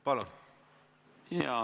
Palun!